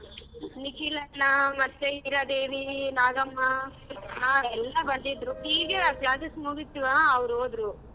ನಿಖಿಲ್ ಅಣ್ಣ ಮತ್ತೆ ಈರಾದೇವಿ, ನಾಗಮ್ಮ ಹಾ ಎಲ್ಲ ಬಂದಿದ್ರು ಈಗ class ಮುಗಿತ್ವ ಅವ್ರ್ ಹೋದ್ರು.